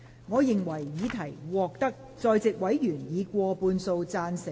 我認為議題獲得在席委員以過半數贊成。